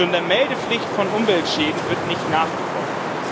Schon der Meldepflicht von Umweltschäden wird nicht nachgekommen.